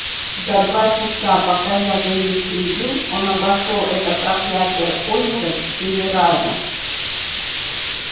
за два часа пока я за ним следил он обошёл это проклятое озеро четыре раза